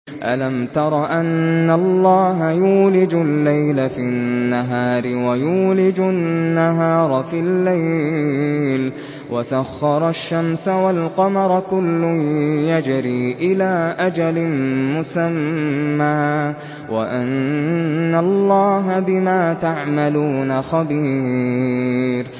أَلَمْ تَرَ أَنَّ اللَّهَ يُولِجُ اللَّيْلَ فِي النَّهَارِ وَيُولِجُ النَّهَارَ فِي اللَّيْلِ وَسَخَّرَ الشَّمْسَ وَالْقَمَرَ كُلٌّ يَجْرِي إِلَىٰ أَجَلٍ مُّسَمًّى وَأَنَّ اللَّهَ بِمَا تَعْمَلُونَ خَبِيرٌ